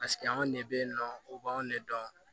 Paseke anw de bɛ yen nɔ u b'anw ne dɔn